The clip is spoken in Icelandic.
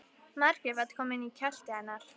Margrét var komin í kjöltu hennar.